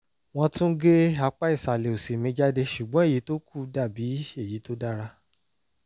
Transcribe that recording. wọ́n tún gé apá ìsàlẹ̀ òsì mi jáde ṣùgbọ́n èyí tó kù dàbí èyí tó dára